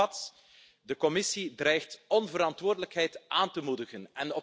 Samengevat De Commissie dreigt onverantwoordelijkheid aan te moedigen.